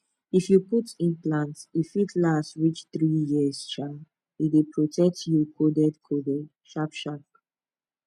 if you put implant e fit last reach three years um e dey protect you coded coded sharp sharp